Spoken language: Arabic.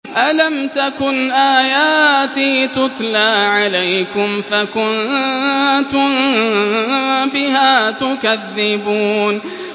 أَلَمْ تَكُنْ آيَاتِي تُتْلَىٰ عَلَيْكُمْ فَكُنتُم بِهَا تُكَذِّبُونَ